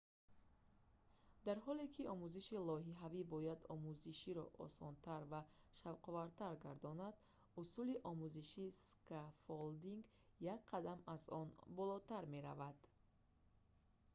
дар ҳоле ки омӯзиши лоиҳавӣ бояд омӯзишро осонтар ва шавқовартар гардонад усули омӯзиши скаффолдинг як қадам аз он болотар меравад